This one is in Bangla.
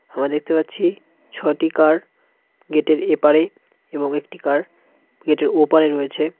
আমরা দেখতে পাচ্ছি ছটি কার গেটের এপারে এবং একটি কার গেটের ওপারে রয়েছে।